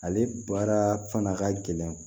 Ale baara fana ka gɛlɛn